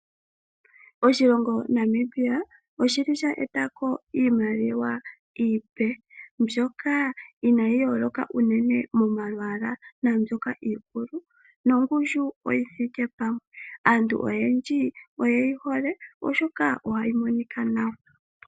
Oshilongo Namibia oshili sha etako iimaliwa iipe mbyoka inaayi yooloka unene momalwaala naambyoka iikulu nongushu oyithike pamwe. Aantu oyendji oyeyi hole oshoka ohayi monika nawa.